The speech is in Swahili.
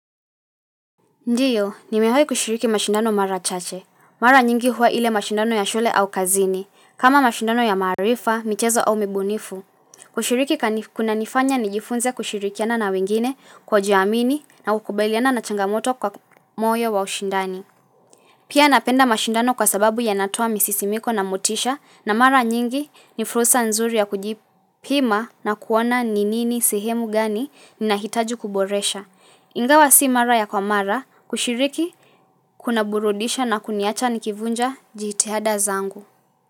Ndiyo, nimewahi kushiriki mashindano mara chache. Mara nyingi hua ile mashindano ya shule au kazini. Kama mashindano ya maarifa, michezo au mibunifu. Kushiriki kunanifanya nijifunze kushirikiana na wengine kujiamini na kukubailiana na changamoto kwa moyo wa ushindani. Pia napenda mashindano kwa sababu ya natoa misisimiko na motisha na mara nyingi ni fursa nzuri ya kujipima na kuona ni nini sihemu gani ni nahitaji kuboresha. Ingawa si mara ya kwa mara, kushiriki, kuna burudisha na kuniacha nikivunja jihitihada zangu.